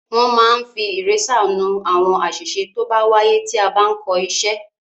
Wọ́n máa ń fi ìrésà nú àwọn àṣìṣe tó bá wáyé tí a bá ń kọ iṣẹ́.